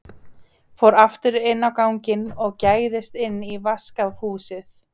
Fór aftur inn á ganginn og gægðist inn í vaskahúsið.